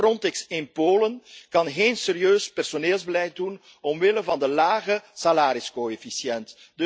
bijvoorbeeld Frontex in Polen kan geen serieus personeelsbeleid doen, omwille van de lage salariscoëfficiënt.